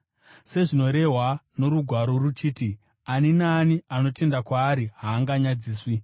Sezvinorehwa noRugwaro ruchiti: “Ani naani anotenda kwaari haanganyadziswi.”